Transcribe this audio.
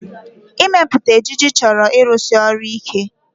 Ịmepụta ejiji chọrọ ịrụsi ọrụ ike